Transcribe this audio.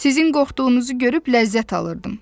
Sizin qorxduğunuzu görüb ləzzət alırdım.